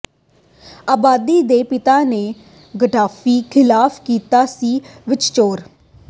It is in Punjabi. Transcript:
ਆਬਿਦੀ ਦੇ ਪਿਤਾ ਨੇ ਗੱਦਾਫ਼ੀ ਖ਼ਿਲਾਫ਼ ਕੀਤਾ ਸੀ ਵਿਦਰੋਹ